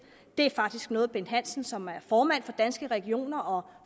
det er faktisk noget bent hansen som er formand for danske regioner og